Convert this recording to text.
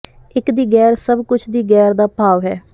ਇੱਕ ਦੀ ਗੈਰ ਸਭ ਕੁਝ ਦੀ ਗੈਰ ਦਾ ਭਾਵ ਹੈ